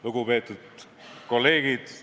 Lugupeetud kolleegid!